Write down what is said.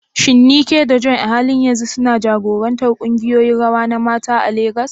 Shin Nneka da Joy a halin yanzu suna jagorantar kungiyoyin rawa na mata a Legas?